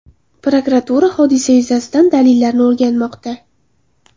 Prokuratura hodisa yuzasidan dalillarni o‘rganmoqda.